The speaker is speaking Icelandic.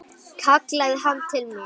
kallaði hann til mín.